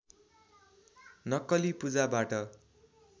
नक्कली पूजाबाट